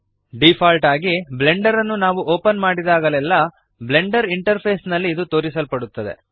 default ಆಗಿ Blender ಅನ್ನು ನಾವು ಓಪನ್ ಮಾಡಿದಾಗಲೆಲ್ಲ ಬ್ಲೆಂಡರ್ ಇಂಟರ್ಫೇಸ್ ನಲ್ಲಿ ಇದು ತೋರಿಸಲ್ಪಡುತ್ತದೆ